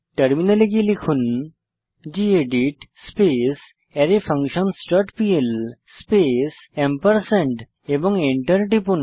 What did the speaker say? টার্মিনালে গিয়ে লিখুন গেদিত স্পেস অ্যারেফাঙ্কশনসহ ডট পিএল স্পেস এবং এন্টার টিপুন